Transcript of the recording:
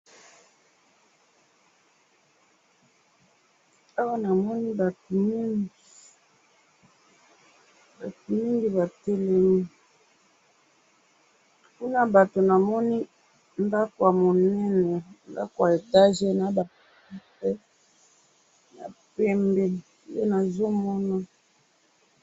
awa namoni batumingi batumingi batelemi kuna yabatu namoni ndako yamonene ndako ya monene etage nabafenetre yapembe nde nazomona